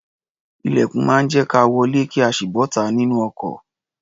Ilẹ̀kùn máa ń jẹ́ ka wọlé kí a sì bọ́ta nínú ọkọ̀.